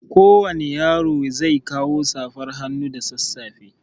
Kowani yaro zai kawo safar hannu da sanfefa.